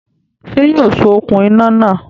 Sé yóò so okùn iná náà